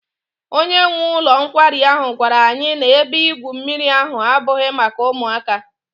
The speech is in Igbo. Onye nwe ụlọ nkwari ahụ gwara anyị na ebe igwu mmiri ahụ abụghị maka ụmụaka.